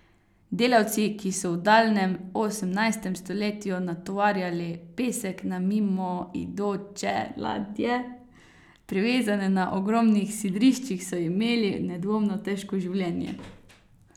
Delavci, ki so v daljnem osemnajstem stoletju natovarjali pesek na mimoidoče ladje, privezane na ogromnih sidriščih, so imeli nedvomno težko življenje.